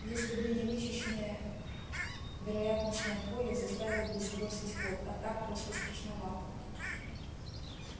если бы не вычищенное вероятностное поле заставил бы сбросить ход а так просто страшновато